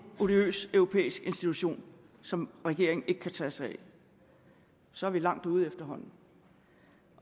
odiøs europæisk institution som regeringen ikke kan tage sig af så er vi langt ude efterhånden